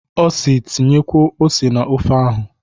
O si "Tinyekwuo ose na ofe ahụ"